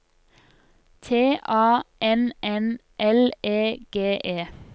T A N N L E G E